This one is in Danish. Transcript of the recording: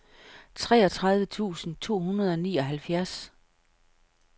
treogtredive tusind to hundrede og nioghalvfjerds